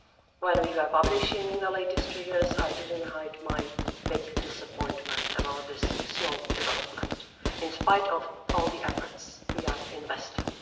When we were publishing the latest figures I didn't hide my big disappointment about this slow development, in spite of all the efforts we are investing.